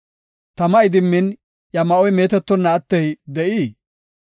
Tama idimmin iya ma7oy meetetonna attey de7ii?